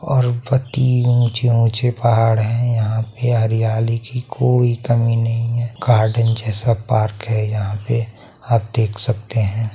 और बत्ती ऊंचे-ऊंचे पहाड़ है यहां पे हरियाली की कोई कमी नहीं है गार्डन जैसा पार्क है यहां पे आप देख सकते है।